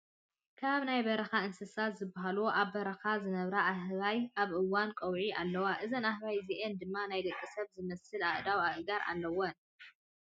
ካብ ናይ በረካ እንስሳት ዝበሃሉ ኣብ በረካ ዝነብራ ኣህባይ ኣብ እዋን ቀውዒ ኣለዋ። እዘን ኣህበይ እዚኣን ድማ ናይ ደቂ ሰብ ዝመስል ኣእዳውን ኣእጋርን ኣለወን።